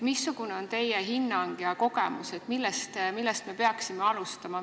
Missugune on teie hinnang ja kogemus, millest me peaksime alustama?